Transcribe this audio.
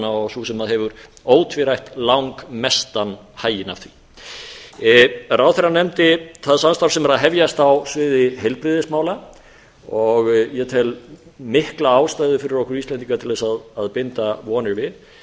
og sú sem hefur ótvírætt langmestan haginn af því ráðherra nefndi það samstarf sem er að hefjast á sviði heilbrigðismála sem ég tel mikla ástæðu fyrir okkur íslendinga til að binda vonir við